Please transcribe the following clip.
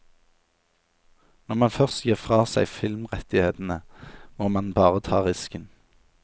Når man først gir fra seg filmrettighetene, må man bare ta risken.